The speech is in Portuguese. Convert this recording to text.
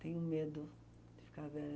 Tenho medo de ficar velha.